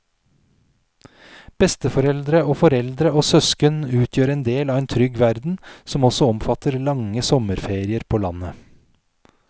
Besteforeldre og foreldre og søsken utgjør en del av en trygg verden som også omfatter lange sommerferier på landet.